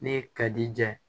Ne ka di ja